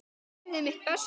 Ég gerði mitt besta.